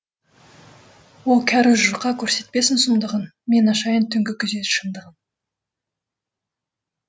о кәрі жұрқа көрсетпесін сұмдығын мен ашайын түнгі күзет шындығын